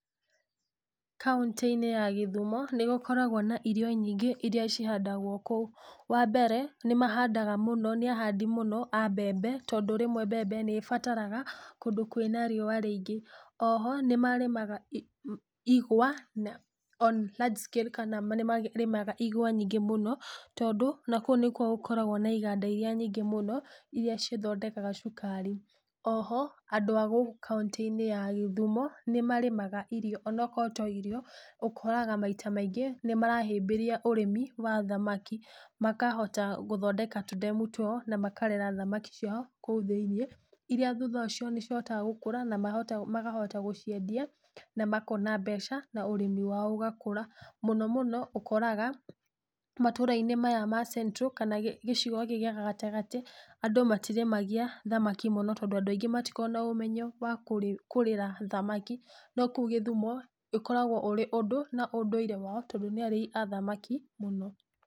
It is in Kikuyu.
Kauntĩ-inĩ ya gĩthumo nĩgũkoragwo na irio nyingĩ iria cihandagwo kũu, wambere, nĩmahandaga mũno, nĩahandi mũno a mbembe, tondũ rĩmwe mbembe nĩbataraga kũndũ kwĩna riũa rĩingĩ, oho, nĩmarĩmaga i ma igwa na on largescale kana nĩmarĩmaga igwa nyingĩ mũno, tondũ, nakũu nĩkuo gũkoragwo na iganda iria nyingĩ mũno, iria cithondekaga cukari, oho, andũ a gũkũ kauntĩ-inĩ ya gĩthumo, nĩmarĩmaga irio, onokorwo to irio, ũkoraga maita maingĩ nĩmarahĩmbĩria ũrĩmi wa thamaki, makahota gũthondeka tũndemu twao, na makarera thamaki ciao kuũ thĩ-inĩ, iria thutha ũcio nícihotaga gũkũra namahota magahota gũciendia, na makona mbeca, na ũrĩmi wao ũgakũra, mũno mũno, ũkoraga, matũrainĩ maya ma central kana gĩcigo gĩkĩ gĩa gatagatĩ, andũ matirímagia thamaki mũno tondũ andũ matikoragwo na ũmenyo wa kũrĩ kũrĩra thamaki, no kũu gíthumo, ũkoragwo ũrĩ ũndũ, na ũndũire wao tondũ nĩ arĩi a thamaki mũno.